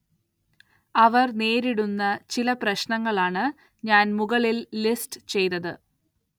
അവര്‍ നേരിടുന്ന ചില പ്രശ്നങ്ങള്‍ ആണ് ഞാന്‍ മുകളില്‍ ലിസ്റ്റ് ചെയ്തത്